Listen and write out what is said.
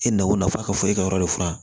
E na o nafa ka fɔ e ka yɔrɔ de furan